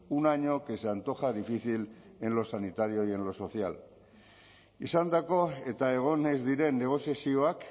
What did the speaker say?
un año que se antoja difícil en lo sanitario y en lo social izandako eta egon ez diren negoziazioak